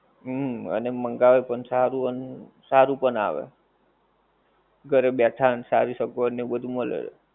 હુંમ અને મંગાવે પણ સારું અન્ સારું પણ આવે, ઘરે બેઠા ને સારી સગવડ ને એવું બધુ મલે.